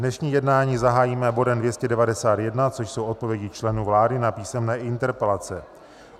Dnešní jednání zahájíme bodem 291, což jsou odpovědi členů vlády na písemné interpelace.